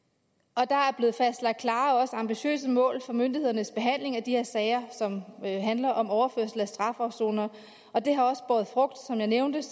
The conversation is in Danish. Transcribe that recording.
og der er blevet fastlagt klare og ambitiøse mål for myndighedernes behandling af de her sager som handler om overførsel af strafafsonere og det har båret frugt som jeg nævnte